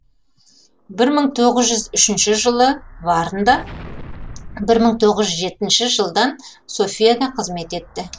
бір мың тоғыз жүз үшінші жылы варнда бір мың тоғыз жүз жетінші жылдан софияда қызмет етті